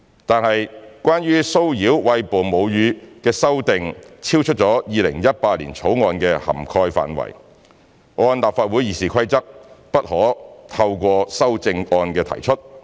但是，關於騷擾餵哺母乳女性的修訂超出《2018年條例草案》的涵蓋範圍，按立法會《議事規則》不可透過修正案提出。